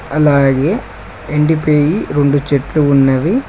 అలాగే ఎండిపెయ్యి రెండు చెట్లు ఉన్నవి.